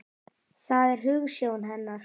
Það er hugsjón hennar.